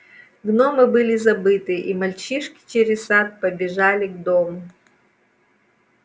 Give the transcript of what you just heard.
гномы были забыты и мальчишки через сад побежали к дому